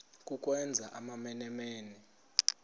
ukwenza amamene mene